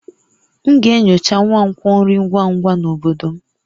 M ga-enyocha nkwonkwo nri ngwa ngwa na obodo m